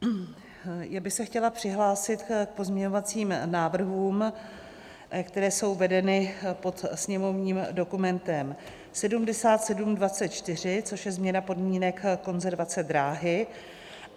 Já bych se chtěla přihlásit k pozměňovacím návrhům, které jsou vedeny pod sněmovním dokumentem 7724, což je změna podmínek konzervace dráhy.